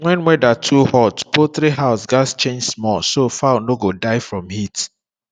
when weather too hot poultry house gats change small so fowl no go die from heat